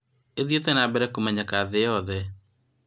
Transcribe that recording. ĩthiĩte na mbere na kũmenyekana thĩ yothe